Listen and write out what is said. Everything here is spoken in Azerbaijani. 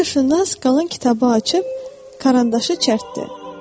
Coğrafiyaşünas qalan kitabı açıb karandaşı çərtdi.